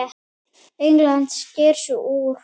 England sker sig úr.